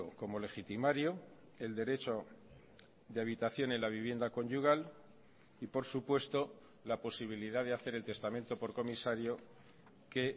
como legitimario el derecho de habitación en la vivienda conyugal y por supuesto la posibilidad de hacer el testamento por comisario que